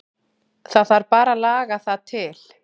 Það þarf bara að laga það til.